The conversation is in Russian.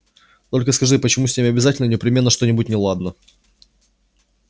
только скажи почему с ними обязательно непременно что-нибудь неладно